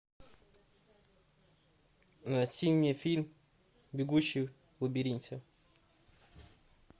найти мне фильм бегущий в лабиринте